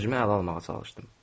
Özümü ələ almağa çalışdım.